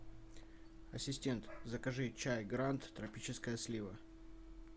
ассистент закажи чай гранд тропическая слива